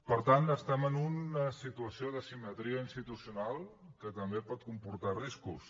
per tant estem en una situació d’asimetria institucional que també pot comportar riscos